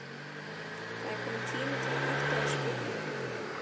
Það er kominn tími til að hætta þessu rugli!